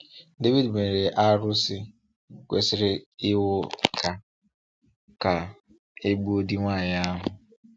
Devid mere arụsị, kwụsịrị iwu ka ka e gbue di nwanyị ahụ.